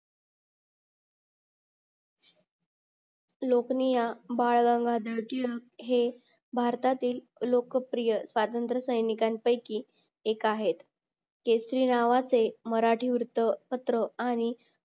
लोकनीय बाळ गंगाधर टिळक हे भारतातील लोकप्रिय स्वातंत्र सैनिकांनपैकी एक आहेत केसरी नावाचे मराठी वृत्तपत्र आणि